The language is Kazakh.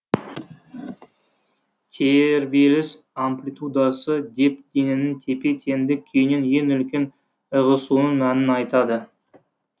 тербеліс амплитпудасы деп дененің тепе теңдік күйінен ең үлкен ығысуының мәнін айтады